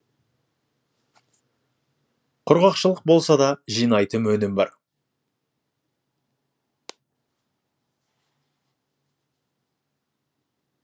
құрғақшылық болса да жинайтын өнім бар